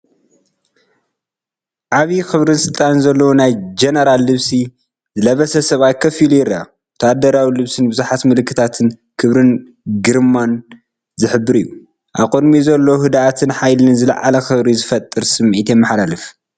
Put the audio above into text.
ዓቢይ ክብርን ስልጣንን ዘለዎ ናይ ጀነራል ልብሲ ዝለበሰ ሰብኣይ ኮፍ ኢሉ ይረአ። ወተሃደራዊ ልብሱን ብዙሓት ምልክታትን ክብርን ግርማን ዝሕብሩ እዮም። ኣብ ቅድሚኡ ዘሎ ህድኣትን ሓይልን ዝለዓለ ክብሪ ዝፈጥር ስምዒት የመሓላልፍ።